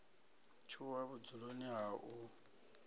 o tshuwa vhudzuloni ha u